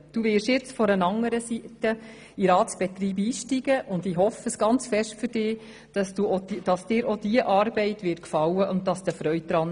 Du wirst jetzt von einer anderen Seite her in den Ratsbetreib einsteigen, und ich hoffe sehr für dich, dass dir auch diese Arbeit gefallen und Freude bereiten wird.